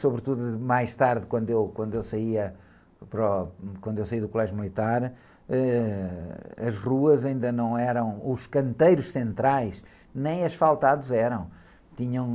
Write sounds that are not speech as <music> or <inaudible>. Sobretudo mais tarde, quando eu, quando eu saía, do, <unintelligible> quando eu saí do colégio militar, ãh, as ruas ainda não eram, os canteiros centrais, nem asfaltados eram. Tinham...